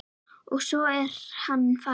Og svo er hann farinn.